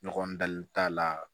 Ɲɔgɔn dali t'a la